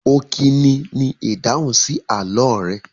Ọkini ni ìdáhùn sí àlọ́ rẹ.